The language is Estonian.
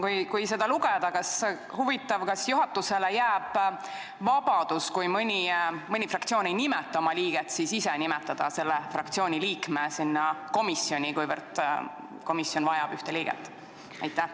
Huvitav, kui mõni fraktsioon ei nimeta oma liiget, kas siis juhatusele jääb vabadus ise nimetada selle fraktsiooni liige sinna komisjoni, kuivõrd komisjon vajab veel ühte liiget?